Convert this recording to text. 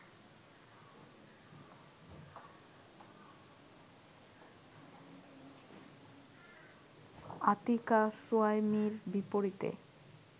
আতিকাহ সুহাইমির বিপরীতে